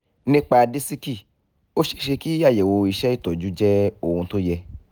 nípa disiki ó ṣeé ṣe kí àyẹ̀wò iṣẹ́-ìtọ́jú jẹ́ ohun tó yẹ